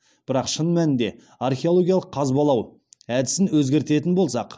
бірақ шын мәнінде археологиялық қазбалау әдісін өзгертетін болсақ